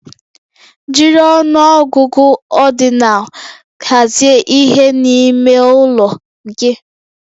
Jiri ọnụ ọgụgụ ordinal hazie ihe n'ime ụlọ gị